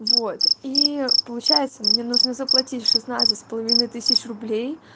вот и получается мне нужно заплатить в шестнадцать с половиной тысяч рублей